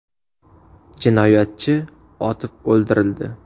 Jinoyatchi otib o‘ldirildi.